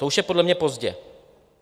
To už je podle mě pozdě.